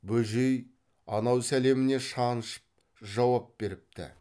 бөжей анау сәлеміне шаншып жауап беріпті